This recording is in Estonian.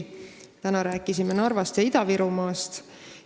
Täna me rääkisime Narvast ja Ida-Virumaast.